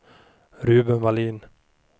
Ruben Vallin